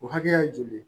O hakɛ ye joli ye